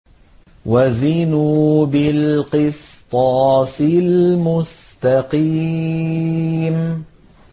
وَزِنُوا بِالْقِسْطَاسِ الْمُسْتَقِيمِ